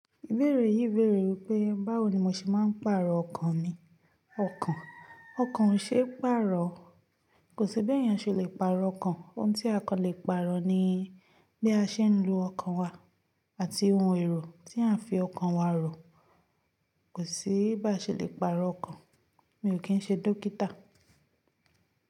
Ìbéèrè yìí béèrè wípé báwo ni mo ṣe máa ń pàrọ̀ ọkàn mi. Ọkàn, ọkàn ò ṣe é pàrọ̀. Kò sí bí ènìyàn ṣe le pàrọ̀ ọkàn. Ohun tí a kàn le pàrọ̀ ni bí a ṣe ń lo ọkàn wa àti ohun èrò tí à ń fi ọkàn wa rò. Kò sí bí a ṣe le pàrọ̀ ọkàn. Mi ò kí ń ṣe dókítà.